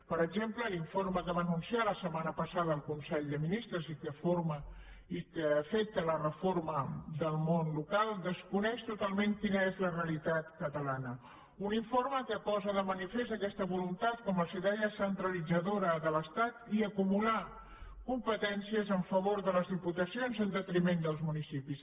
per exemple l’informe que va anunciar la setmana passada el consell de ministres i que afecta la reforma del món local desconeix totalment quina és la realitat catalana un informe que posa de manifest aquesta voluntat com els deia centralitzadora de l’estat i acumular competències en favor de les diputacions i en detriment dels municipis